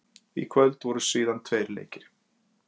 Í kvöld voru síðan tveir leikir.